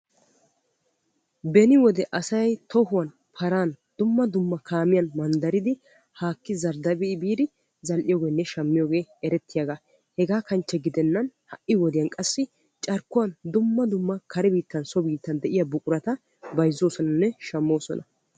Beni wode asay paran, tohuwan, kaamiya dumma dummaban manddariddi haaki zardda'i biiddi bayzziyoogenne shammiyooge erettiyaaga hegaa kanchche gidennan ha'i wodiyan qassi carkkuwan dumma dumma kare biittan so biittan de'iya buqurata bayzzosonnanne shammosonna.